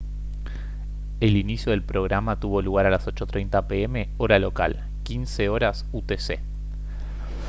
el inicio del programa tuvo lugar a las 8:30 p. m. hora local 15:00 utc